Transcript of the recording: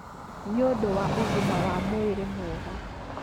nĩ ũndũ wa ũgima wa mwĩrĩ mwega.